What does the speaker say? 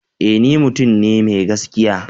Ee! ni mutum ne mai gaskiya.